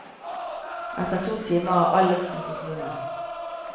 Etter to timer er all lukten forsvunnet.